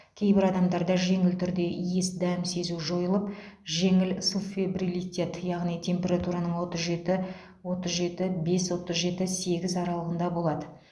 кейбір адамдарда жеңіл түрде иіс дәм сезу жойылып жеңіл субфебрилитет яғни температураның отыз жеті отыз жеті бес отыз жеті сегіз аралығында болады